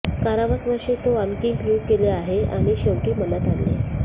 कारावास वर्षे तो आणखी क्रूर केले आहे आणि शेवटी मनात आणले